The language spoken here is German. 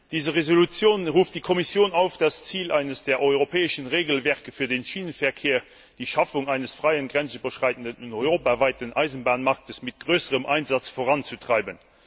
Diese Entschließung ruft die Kommission auf, das Ziel eines der europäischen Regelwerke für den Schienenverkehr die Schaffung eines freien grenzüberschreitenden und europaweiten Eisenbahnmarktes mit größerem Einsatz voranzutreiben.